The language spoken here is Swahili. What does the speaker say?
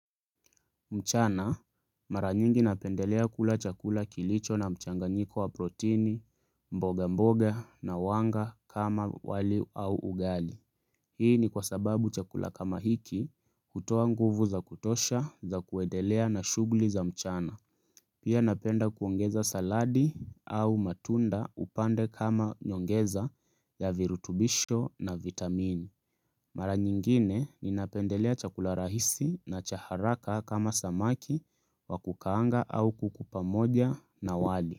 Mchana, mara nyingi napendelea kula chakula kilicho na mchanganyiko wa proteini, mboga mboga na wanga kama wali au ugali. Hii ni kwa sababu chakula kama hiki hutoa nguvu za kutosha za kuendelea na shughuli za mchana. Pia napenda kuongeza saladi au matunda upande kama nyongeza ya virutubisho na vitamini. Mara nyingine ninapendelea chakula rahisi na cha haraka kama samaki wa kukaanga au kuku pamoja na wali.